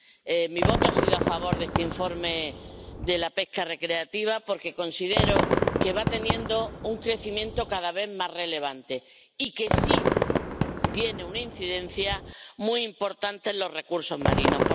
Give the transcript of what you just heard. He votado a favor de este informe sobre la pesca recreativa porque considero que va teniendo un crecimiento cada vez más relevante y que sí tiene una incidencia muy importante en los recursos marinos.